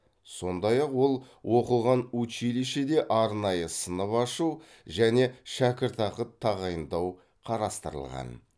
сондай ақ ол оқыған училищеде арнайы сынып ашу және шәкіртақы тағайындау қарастырылған